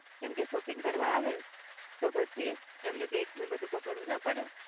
કેમ કે શોપિંગ કરવા આવે તો પછી એમને બેગ્સ ને બધું પકડવું ના પડે